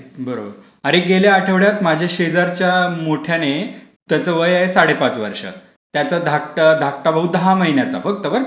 बरोबर, अरे गेल्या आठवड्यात माझी अशी शेजारच्या मोठयाने त्याचं वय आहे साडेपाच वर्षं. त्याचं धाकटा भाऊ दहा महिन्यांचा फक्त. बरं का.